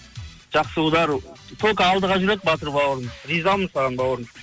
жақсы удар только алдыға жүреді батыр бауырым ризамын саған бауырым